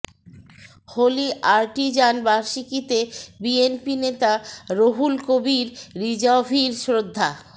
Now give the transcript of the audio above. হলি Artisan বার্ষিকীতে বিএনপি নেতা রুহুল কবির রিজভীর শ্রদ্ধা